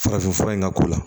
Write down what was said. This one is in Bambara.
Farafinfura in ka k'o la